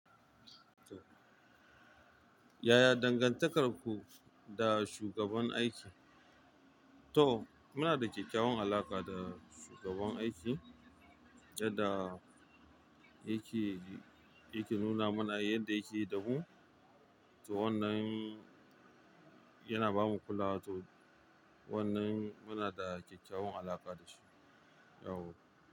Yaya dangantakarku da shugaban aiki? To muna da kyakkyawan alaƙa da shugaban aiki, jadda yake, yake nuna mana yadda yake da mu. To wannan yana bamu kula, to wannan muna da kyakkyawan alaƙa da shi. Yau.